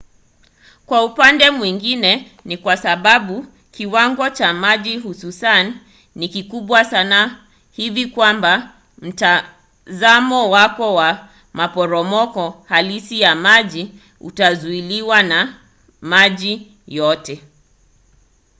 kwa upande mwingine ni kwa sababu kiwango cha maji hususan ni kikubwa sana hivi kwamba mtazamo wako wa maporomoko halisi ya maji utazuiliwa – na maji yote!